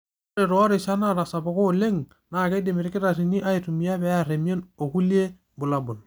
Ore toorishat naatasapuka oleng, naa keidim olkitarri aitumia pee eer emion okulie bulabul.